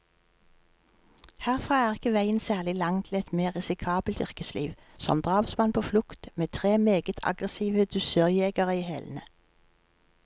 Herfra er ikke veien særlig lang til et mer risikabelt yrkesliv, som drapsmann på flukt, med tre meget aggressive dusørjegere i hælene.